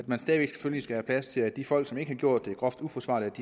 man selvfølgelig have plads til at de folk som ikke har gjort det groft uforsvarligt